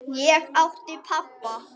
Ég átti pabba.